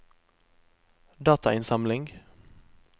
datainnsamling